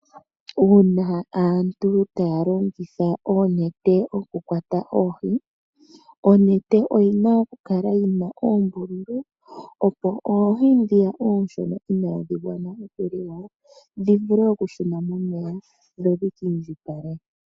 Una aantu taya longitha oonete oku kwata oohi onete oyina okukala yina oombululu opo oohi ndhiya oonshona inadhi gwana okuliwa dhi vule oku shuna momeya dho dhiki ndjipale.